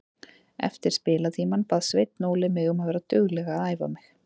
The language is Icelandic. Eftir spilatímann bað Sveinn Óli mig um að vera dugleg að æfa mig.